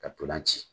Ka ntolan ci